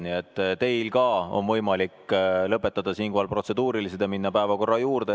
Nii et teil ka on võimalik lõpetada siinkohal protseduurilised ja minna päevakorra juurde.